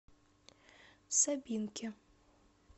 сабинке